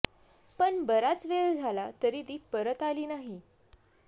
पण बराच वेळ झाला तरी ती परत आली नाही